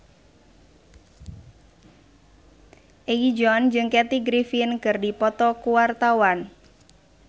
Egi John jeung Kathy Griffin keur dipoto ku wartawan